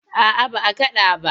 A'a ba a kaɗa ba.